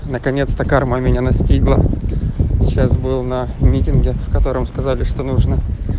наконец-то карма меня настигла сейчас был на митинге в котором сказали что нужно